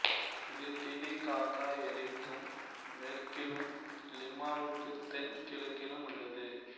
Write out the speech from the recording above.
இது டிடிகாகா ஏரிக்கு மேற்கிலும் லிமாவுக்கு தென் கிழக்கிலும் உள்ளது